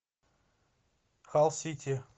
халл сити